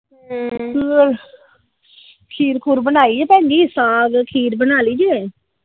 ਹਮ ਖੀਰ ਖੁਰ ਬਣਾਈ ਏ ਭੈਣਜੀ ਸਾਗ ਖੀਰ ਬਨਾਲੀ ਜੇ?